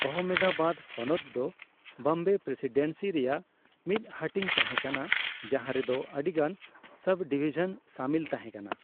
ᱚᱦᱢᱮᱫᱟᱵᱟᱫᱽ ᱦᱚᱱᱚᱛ ᱫᱚ ᱵᱚᱢᱵᱮ ᱯᱨᱮᱥᱤᱰᱮᱱᱥᱤ ᱨᱮᱭᱟᱜ ᱢᱤᱫ ᱦᱟᱹᱴᱤᱧ ᱛᱟᱦᱮᱸ ᱠᱟᱱᱟ ᱾ ᱡᱟᱦᱟᱸ ᱨᱮᱫᱚ ᱟᱹᱰᱤᱜᱟᱱ ᱥᱚᱵᱽᱼᱰᱤᱵᱷᱤᱡᱚᱱ ᱥᱟᱹᱢᱤᱞ ᱛᱟᱦᱮᱸ ᱠᱟᱱᱟ ᱾